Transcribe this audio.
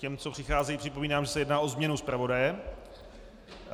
Těm, co přicházejí, připomínám, že se jedná o změnu zpravodaje.